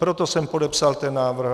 Proto jsem podepsal ten návrh.